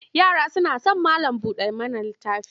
Yara suna son malam-buɗa-mana-littafi.